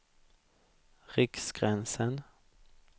Riksgränsen